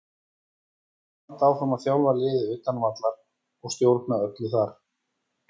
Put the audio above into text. Hann mun halda áfram að þjálfa liðið utan vallarins og stjórna öllu þar.